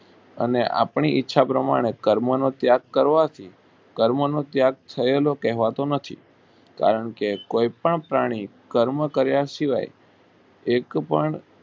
અને આપણી ઈચ્છા પ્રમાણે કર્મનો ત્યાગ કરવાથી કર્મ નો ત્યાગ થયો એમ કહેવાતું નથી કારણ કે કોઈ પણ પ્રાણી કર્મ કારિયા સિવાય એક પણ